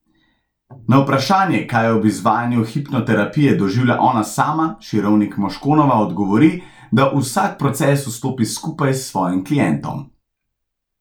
Na vprašanje, kaj ob izvajanju hipnoterapije doživlja ona sama, Širovnik Moškonova odgovori, da v vsak proces vstopi skupaj s svojim klientom.